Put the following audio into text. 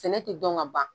Sɛnɛ tɛ dɔn ka ban